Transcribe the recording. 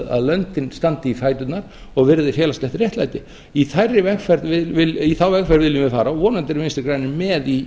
að löndin standi í fæturnar og virði félagslegt réttlæti í þá vegferð viljum við fara og vonandi eru vinstri grænir með